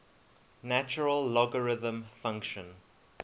natural logarithm function